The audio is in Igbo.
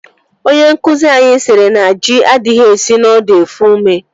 Onye nkụzi anyị siri na ji adịghị esi n'ọdụ efu ome